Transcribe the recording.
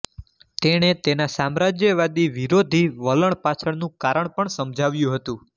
તેણે તેના સામ્રાજ્યવાદી વિરોધી વલણ પાછળનું કારણ પણ સમજાવ્યું હતું